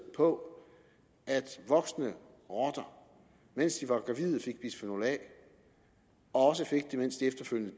på at voksne rotter mens de var gravide fik bisfenol a og også fik det mens de efterfølgende